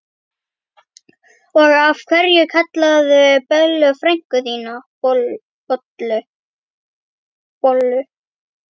Og af hverju kallarðu Bellu frænku þína bollu?